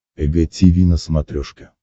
эг тиви на смотрешке